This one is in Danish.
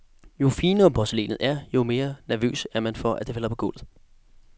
Jo finere porcelænet er, jo mere nervøs er man for, at det falder på gulvet.